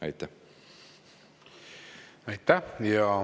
Aitäh!